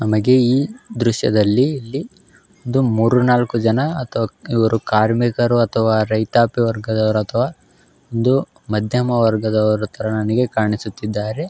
ನಮಗೆ ಈ ದೃಶ್ಯದಲ್ಲಿ ಇಲ್ಲಿ ಒಂದು ಮೂರು ನಾಲ್ಕು ಜನ ಅಥವಾ ಇವರು ಕಾಮಿರ್ಕರು ಅಥವಾ ರೈತಾಪಿ ವರ್ಗದವರು ಅಥವಾ ಒಂದು ಮಧ್ಯಮ ವರ್ಗದವರ ತರಹ ನನಗೆ ಕಾಣಿಸುತ್ತಿದ್ದಾರೆ.